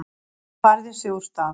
Hún færir sig úr stað.